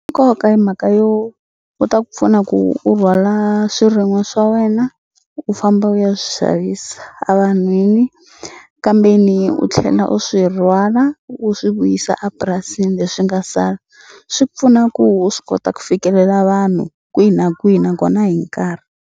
Nkoka i mhaka yo wu ta ku pfuna ku u rhwala swirin'wa swa wena u famba u ya swi xavisa evanhwini kambe ni u tlhela u swi rhwala u swi vuyisa a purasini leswi nga sala swi pfuna ku u swi kota ku fikelela vanhu kwihi na kwihi nakona hi nkarhi.